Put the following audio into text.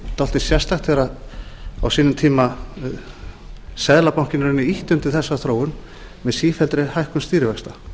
svolítið sérstakt á sínum tíma þegar seðlabankinn ýtti undir þessa þróun með sífelldri hækkun stýrivaxta